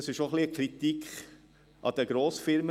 Das ist auch ein wenig eine Kritik an den Grossfirmen.